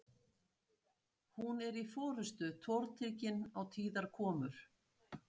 Hún er í fyrstu tortryggin á tíðar komur